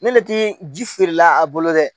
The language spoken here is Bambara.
Ne le ti ji feere la a bolo dɛ.